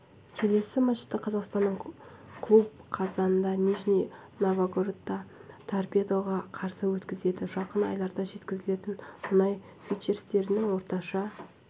келесі матчты қазақстандық клуб қазанда нижний новгородта торпедоға қарсы өткізеді жақын айларда жеткізілетін мұнай фьючерстерінің орташа